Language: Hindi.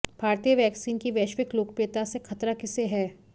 भारतीय वैक्सिन की वैश्विक लोकप्रियता से खतरा किसे है